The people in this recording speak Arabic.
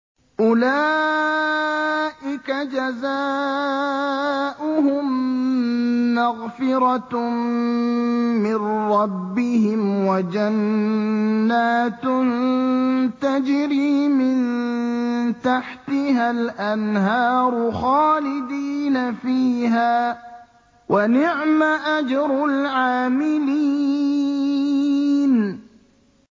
أُولَٰئِكَ جَزَاؤُهُم مَّغْفِرَةٌ مِّن رَّبِّهِمْ وَجَنَّاتٌ تَجْرِي مِن تَحْتِهَا الْأَنْهَارُ خَالِدِينَ فِيهَا ۚ وَنِعْمَ أَجْرُ الْعَامِلِينَ